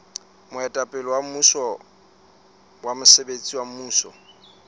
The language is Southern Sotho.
moetapele wa mosebetsi wa mmuso